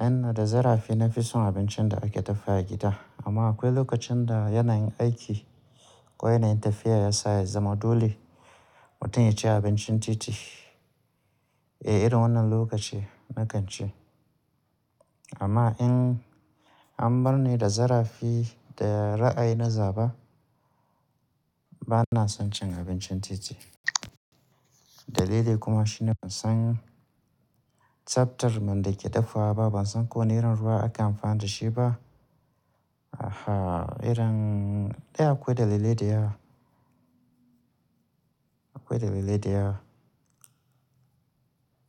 Inna da zarafi na fi son abincin da ake dafawa agida. Amma akwai lokacin da yanayin aiki ko yanayin tafiya ya sa ya zama dole mutum ya ci abincin titi. Eh, irin wannan lokaci na kan ci. Amma in an bar ni da zarafi da ra'ayi na zaɓa, bana son cin abincin titi. Dalili kuma shine ban san tsaftar man da ke dafawa ba, ban san ƙo wani ruwa akai amfani da shi ba. Aha, irin, eh akwai dalilai da yawa. Akwai dalilai da yawa.